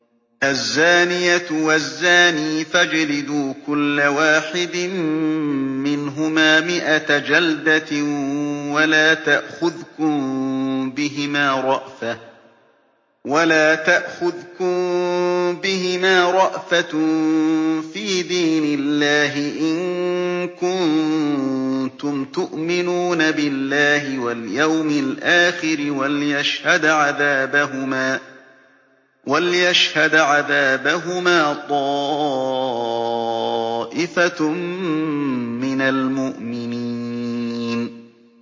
الزَّانِيَةُ وَالزَّانِي فَاجْلِدُوا كُلَّ وَاحِدٍ مِّنْهُمَا مِائَةَ جَلْدَةٍ ۖ وَلَا تَأْخُذْكُم بِهِمَا رَأْفَةٌ فِي دِينِ اللَّهِ إِن كُنتُمْ تُؤْمِنُونَ بِاللَّهِ وَالْيَوْمِ الْآخِرِ ۖ وَلْيَشْهَدْ عَذَابَهُمَا طَائِفَةٌ مِّنَ الْمُؤْمِنِينَ